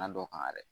dɔ kan yɛrɛ